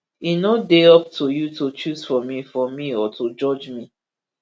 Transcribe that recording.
e no dey up to you to choose for me for me or to judge me